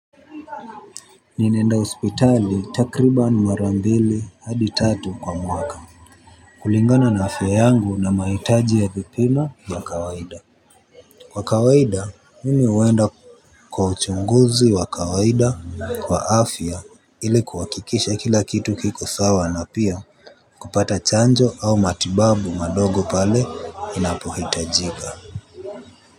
Ninaenda ospitali takriba nmarambili hadi tatu kwa mwaka. Kulingana na afya yangu na maitaji ya vipimo vya kawaida. Kwa kawaida mimi uenda kwa uchunguzi wa kawaida kwa afya ili kuwakikisha kila kitu kiko sawa na pia kupata chanjo au matibabu madogo pale inapohitajiga.